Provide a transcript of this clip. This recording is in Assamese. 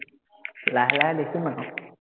লাহে লাহে দেখিম আকৌ